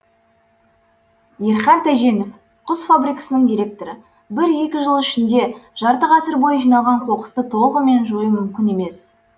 ерхат тәженов құс фабрикасының директоры бір екі жыл ішінде жарты ғасыр бойы жиналған қоқысты толығымен жою мүмкін емес